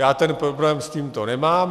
Já ten problém s tímto nemám.